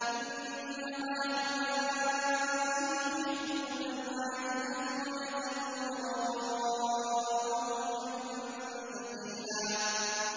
إِنَّ هَٰؤُلَاءِ يُحِبُّونَ الْعَاجِلَةَ وَيَذَرُونَ وَرَاءَهُمْ يَوْمًا ثَقِيلًا